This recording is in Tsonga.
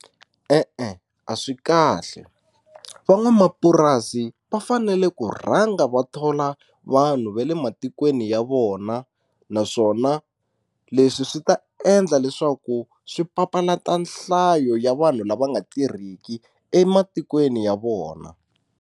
E-e a swi kahle van'wamapurasi va fanele ku rhanga va thola vanhu va le matikweni ya vona naswona leswi swi ta endla leswaku swi papalata nhlayo ya vanhu lava nga tirhiki ematikweni ya vona.